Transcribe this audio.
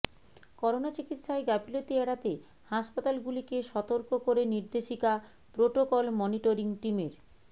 corona চিকিৎসায় গাফিলতি এড়াতে হাসপাতালগুলিকে সতর্ক করে নির্দেশিকা প্রোটোকল মনিটরিং টিমের